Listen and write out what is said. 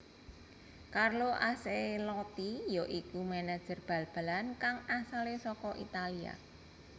Carlo Ancelotti ya iku manajer bal balan kang asalé saka Italia